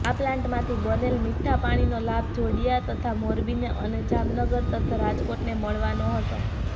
આ પ્લાન્ટમાંથી બનેલ મીઠા પાણીનો લાભ જોડિયા તથા મોરબીને અને જામનગર તથા રાજકોટને મળવાનો હતો